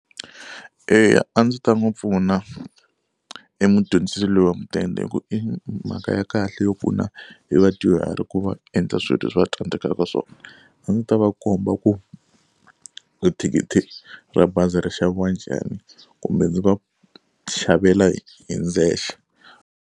Eya a ndzi ta n'wi pfuna e mudyondzisi loyi wa mudende hi ku i mhaka ya kahle yo pfuna hi vadyuhari ku va endla swilo leswi va tsandzekaka swona. A ndzi ta va komba ku i thikithi ra bazi ri xaviwa njhani kumbe ndzi va xavela hi hi ndzexe.